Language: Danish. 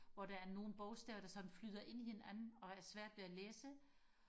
hvor der er nogle bogstaver der sådan flyder ind i hinanden og er svært ved og læse